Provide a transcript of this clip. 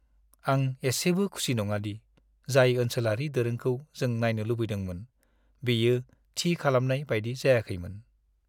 आं एसेबो खुसि नङा दि जाय ओनसोलारि दोरोंखौ जों नायनो लुबैदोंमोन बेयो थि खालामनाय बायदि जायाखैमोन।